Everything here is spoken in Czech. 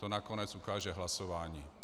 To nakonec ukáže hlasování.